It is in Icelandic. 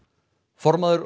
formaður